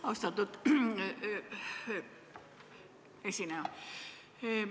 Austatud esineja!